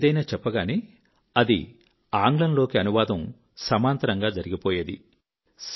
నేను ఏదైనా చెప్పగానే అది ఆంగ్లంలోకి అనువాదం సమాంతరంగా జరిగిపోయేది